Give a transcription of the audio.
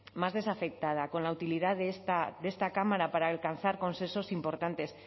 más desafectada con la utilidad de esta cámara para alcanzar consensos importantes